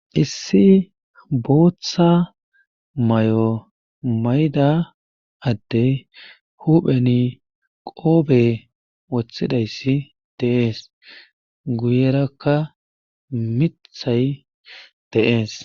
Issi booththa mayo mayiza adde huupheni qoobe wothidayssi dees. guyerakka miththay de'ees.